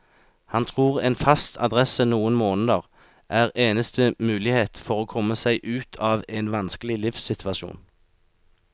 Han tror en fast adresse noen måneder er eneste mulighet for å komme seg ut av en vanskelig livssituasjon.